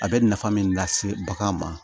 A bɛ nafa min lase bagan ma